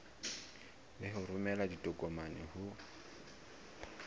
le ho romela ditokomane ho